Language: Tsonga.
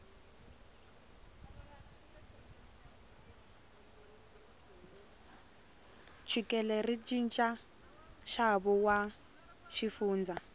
chukele ri chicha xavo wa xifundza